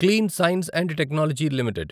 clean science and technology limited